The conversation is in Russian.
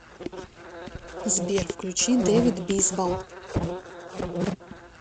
сбер включи дэвид бисбал